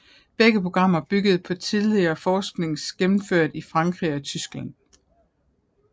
Begge programmer byggede på tidligere forskning gennemført i Frankrig og Tyskland